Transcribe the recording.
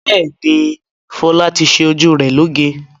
Bẹ́ẹ̀ni, Fọlá ti ṣe ojú rẹ̀ lóge.